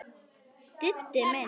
Diddi minn!